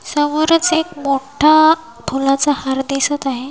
समोरच एक मोठा फुलाचा हार दिसत आहे.